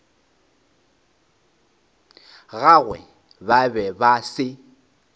gagwe ba be ba se